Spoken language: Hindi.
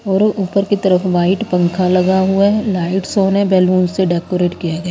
और ऊपर की तरफ वाइट पंखा लगा हुआ है लाइट्स ऑन है बैलून से डेकोरेट किया गया।